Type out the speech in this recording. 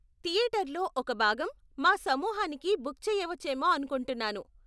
థియేటర్లో ఒక భాగం మా సమూహానికి బుక్ చేయవచ్చేమో అనుకుంటున్నాను.